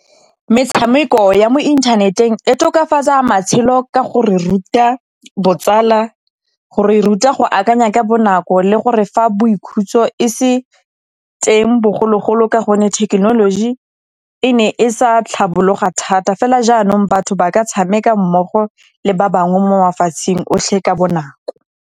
Metshameko ya mo inthaneteng e tokafatsa matshelo ka go re ruta botsala, go re ruta go akanya ka bonako le go re fa boikhutso e se teng bogologolo ka gonne thekenoloji e ne e sa tlhabologa thata. Fela jaanong batho ba ka tshameka mmogo le ba bangwe mo mafatsheng otlhe ka bonako.